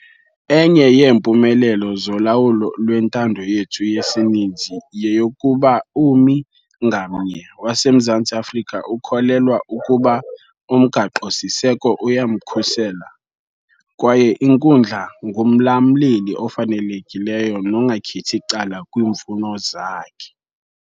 Enye yeempumelelo zolawulo lwentando yethu yesininzi yeyokuba ummi ngamnye waseMzantsi Afrika ukholelwa ukuba uMgaqo-siseko uyamkhusela kwaye inkundla ngumlamleli ofanelekileyo nongakhethi cala kwiimfuno zakhe.